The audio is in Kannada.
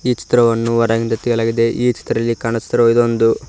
ಚಿತ್ರವನ್ನು ಹೊರಗಿಂದ ತೆಗೆಯಲಾಗಿದೆ ಈ ಚಿತ್ರದಲ್ಲಿ ಕಾಣಿಸುತ್ತಿರುವ ಇದೊಂದು--